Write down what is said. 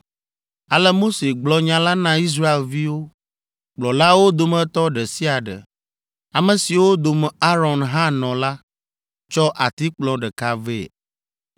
Ale Mose gblɔ nya la na Israelviwo. Kplɔlawo dometɔ ɖe sia ɖe, ame siwo dome Aron hã nɔ la, tsɔ atikplɔ ɖeka vɛ.